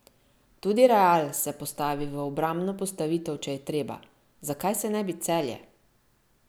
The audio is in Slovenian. Tudi Real se postavi v obrambno postavitev, če je treba, zakaj se ne bi Celje?